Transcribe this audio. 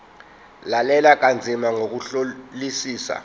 lalela kanzima ngokuhlolisisa